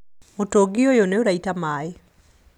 Mũtũngi ũyũ nĩuraita maĩ